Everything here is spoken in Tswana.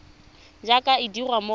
jaaka e dirwa mo go